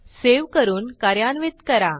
save करून कार्यान्वित करा